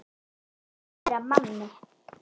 Um að vera Manni!